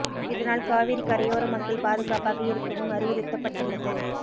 இதனால் காவிரி கரையோர மக்கள் பாதுகாப்பாக இருக்கவும் அறிவுத்தப்பட்டு உள்ளது